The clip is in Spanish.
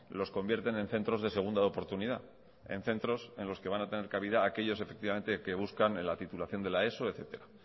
los convierten en centros de segunda oportunidad en centros en los que van a tener cabida aquellos efectivamente que buscan la titulación de la eso etcétera